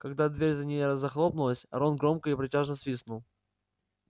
когда дверь за ней захлопнулась рон громко и протяжно свистнул